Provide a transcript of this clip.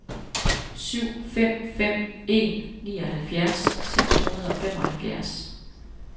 syv fem fem en nioghalvfjerds seks hundrede og femoghalvfjerds